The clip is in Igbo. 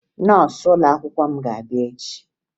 Nọọsụ ụlọakwụkwọ m ga-abịa echie